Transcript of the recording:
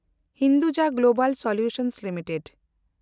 Hinduja global solutions limited